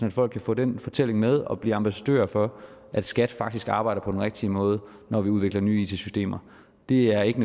at folk kan få den fortælling med og blive ambassadører for at skat faktisk arbejder på den rigtige måde når vi udvikler nye it systemer det er ikke